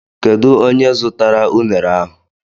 Kedu onye zụtara unere ahụ?